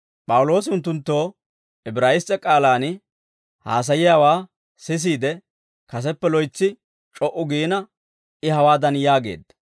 P'awuloosi unttunttoo Ibraayiss's'e k'aalaan haasayiyaawaa sisiide, kaseppe loytsi c'o"u giina I hawaadan yaageedda.